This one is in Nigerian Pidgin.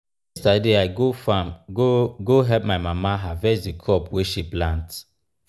yesterday i go farm go go help my mama harvest the crop wey she plant.